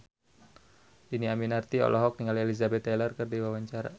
Dhini Aminarti olohok ningali Elizabeth Taylor keur diwawancara